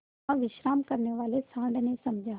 वहाँ विश्राम करने वाले सॉँड़ ने समझा